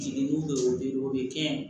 Jiginni bɛ o bɛ kɛ